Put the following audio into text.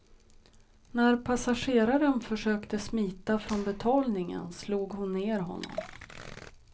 När passageraren försökte smita från betalningen slog hon ner honom.